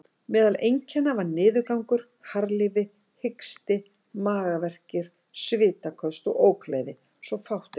Meðal einkenna var niðurgangur, harðlífi, hiksti, magaverkir, svitaköst og ógleði, svo fátt eitt sé nefnt.